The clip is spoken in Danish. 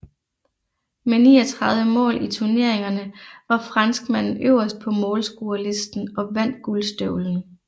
Med 39 mål i turneringerne var franskmanden øverst på målscorerlisten og vandt Guldstøvlen